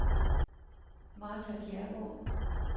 Martha Kjærgaard